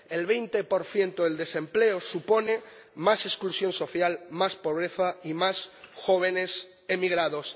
El 20 del desempleo supone más exclusión social, más pobreza y más jóvenes emigrados.